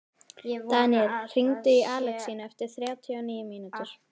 Daníel, hringdu í Alexínu eftir þrjátíu og níu mínútur.